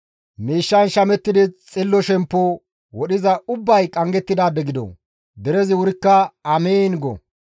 «Miishshan shamettidi xillo shemppo wodhiza ubbay qanggettidaade gido!» Derezi wurikka, «Amiin!» go.